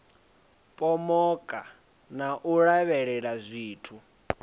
pomoka na u lavhelela zwithu